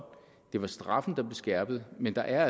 det var straffen der skærpet men der er